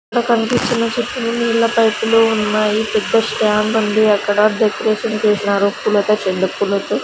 అక్కడ కనిపిస్తున్న చిత్రం నీళ్ల పైపు లు ఉన్నాయి పెద్ద స్టాండ్ ఉంది అక్కడ డెకరేషన్ చేసినారు పూలతో చెండు పూలతో --